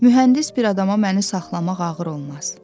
Mühəndis bir adama məni saxlamaq ağır olmaz.